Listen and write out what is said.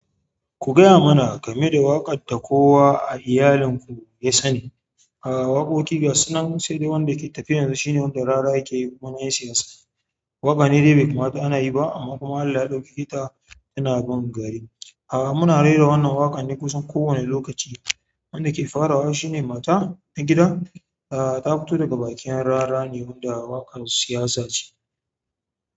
Ku gaya mana game da waƙar da kowa a iyalinku ya sani. A'a, waƙoƙi gasu nan sai dai wanda ke tafiya yanzu shine wanda rara yake yiwa yan siyasa. Waƙa ne dai bai kamata ana yi ba amma kuma Allah ya ɗaukake ta tana bin gari. Muna rera wannan waƙar kusan ko wani lokaci wanda ke farawa shine mata na gida, a'a ta fito daga bakin rarra ne wanda waƙar siyasa ce.